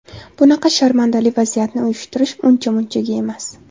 Bunaqa sharmandali vaziyatni uyushtirish uncha munchaga emas.